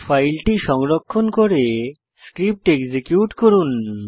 ফাইলটি সংরক্ষণ করে স্ক্রিপ্ট এক্সিকিউট করুন